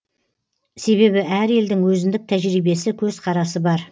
себебі әр елдің өзіндік тәжірибесі көзқарасы бар